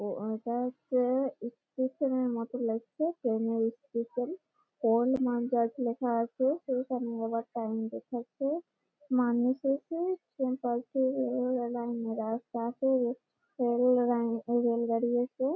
ঐটা হচ্ছে-এ ইস্টেশন এর মতো লাগছে। ট্রেন এর স্টেশন ।ওল্ড মানকার লেখা আছে টাইম দেখাচ্ছে মানুষ আছে সেপাশে রেল লাইন রাস্তা আছে রেল লাইন এ-এ রেল গাড়ি আছে ।